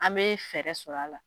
An bɛ fɛɛrɛ sɔrɔ a la.